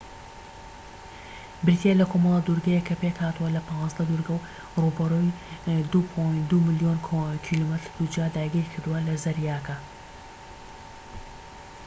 بریتیە لە کۆمەڵە دورگەیەك کە پێکهاتووە لە ١٥ دورگە و ڕووبەری ٢.٢ ملیۆن کیلۆمەتر دووجا داگیرکردووە لە زەریاکە